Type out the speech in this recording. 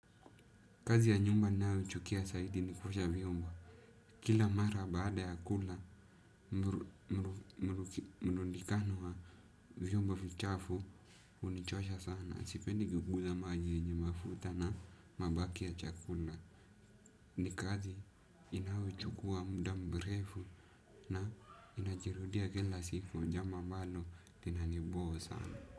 Kazi ya nyumba ninayochukia zaidi ni kuosha vyombo. Kila mara baada ya kula, mnunikano wa vyombo vichafu hunichosha sana. Sipendi kuiguza majini yenye mafuta na mabaki ya chakula. Ni kazi inayo chukua muda mrefu na inajirudia kila siku ni jambo ambalo linanibo sana.